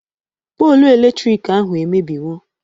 Polu eletrik ahụ emebiwo